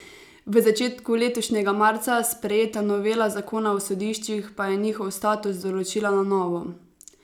V začetku letošnjega marca sprejeta novela zakona o sodiščih pa je njihov status določila na novo.